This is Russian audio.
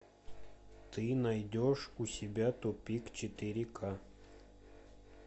ты найдешь у себя тупик четыре ка